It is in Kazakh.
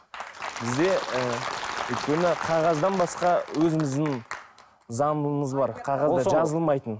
бізде і өйткені қағаздан басқа өзіміздің заңымыз бар қағазға жазылмайтын